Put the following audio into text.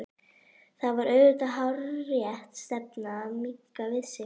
Það var auðvitað hárrétt stefna að minnka við sig.